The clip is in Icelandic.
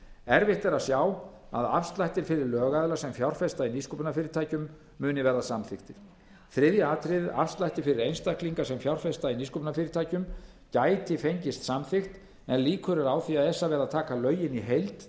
erfitt er að sjá að afslættir fyrir lögaðila sem fjárfesta í nýsköpunarfyrirtækjum muni verða samþykktir þriðja atriðið afslættir fyrir einstaklinga sem fjárfesta í nýsköpunarfyrirtækjum gæti fengist samþykkt en líkur eru á því að esa verði að taka lögin í heild